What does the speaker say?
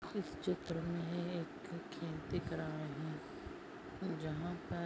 इस चित्र मे एक खेत दिख रहा है जहा पर --